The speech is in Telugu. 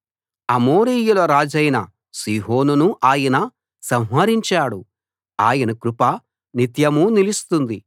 అమోరీయుల రాజైన సీహోనును ఆయన సంహరించాడు ఆయన కృప నిత్యమూ నిలుస్తుంది